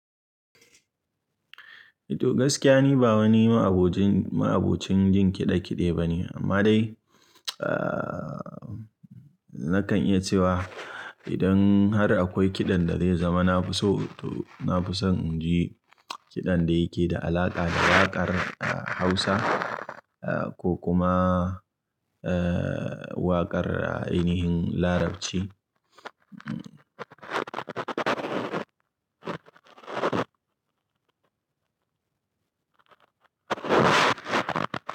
To gaskiya ni ba wani ma'abocin, ma'abocin jin kiɗe kiɗe bane amma dai, ahhh nakan iya cewa idan har akwai kiɗan da zai zama na fi so to na fi son in ji kiɗan da yake da alaƙa da waƙar Hausa ko kuma ehhh waƙar ainihin Larabci. Hmm.